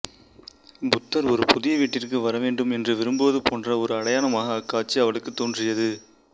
புத்தர் ஒரு புதிய வீட்டிற்குள் வரவேண்டும் என்று விரும்புவது போன்ற ஒரு அடையாளமாக அக்காட்சி அவளுக்குத் தோன்றியது